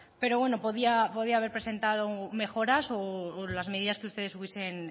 pero bueno podría haber presentado mejoras o las medidas que ustedes hubiesen